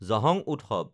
জহং উৎসৱ